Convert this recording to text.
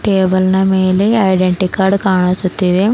ಕೇವಲ ಮೇಲೆ identity card ಕಾಣಿಸುತ್ತವೆ.